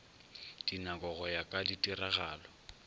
dinako go ya ka ditiragalo